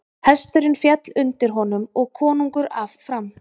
Hesturinn féll undir honum og konungur af fram.